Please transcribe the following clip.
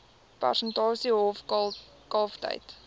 persentasie hoof kalftyd